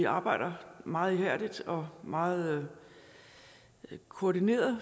arbejdet meget ihærdigt og meget koordineret og